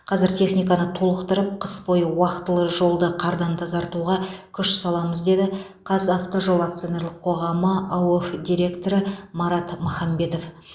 қазір техниканы толықтырып қыс бойы уақтылы жолды қардан тазартуға күш саламыз деді қазавтожол акционерлік қоғамы аоф директоры марат махамбетов